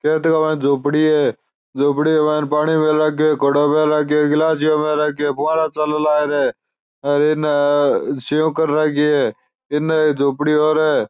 खेत के माय झोपडी है झोपडी के माय पानी गिलासिया में राखे फुवारा चालन लाग रिया है हेर इन सेव कर राखी है इन झोपडी और है।